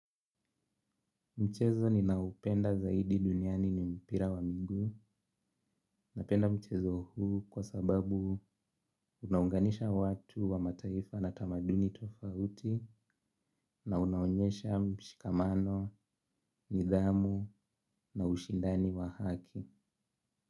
Mchezo ninaupenda zaidi duniani ni mpira wa minguu napenda mchezo huu kwa sababu unaunganisha watu wa mataifa na tamaduni tofauti na unaonyesha mshikamano, nidhamu na ushindani wa haki.